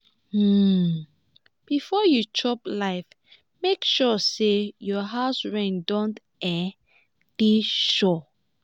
um before you chop life make sure say your house rent don um dey sure.